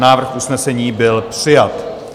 Návrh usnesení byl přijat.